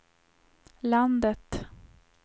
landet